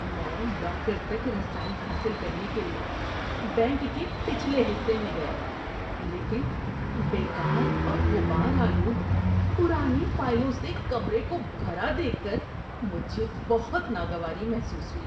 میں لاکر تک رسائی حاصل کرنے کے لیے بینک کے پچھلے حصے میں گیا، لیکن بیکار اور غبار آلود پرانی فائلوں سے کمرے کو بھرا دیکھ کر مجھے بہت ناگواری محسوس ہوئی۔